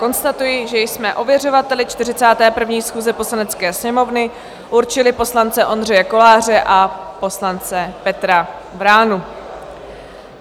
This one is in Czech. Konstatuji, že jsme ověřovateli 41. schůze Poslanecké sněmovny určili poslance Ondřeje Koláře a poslance Petra Vránu.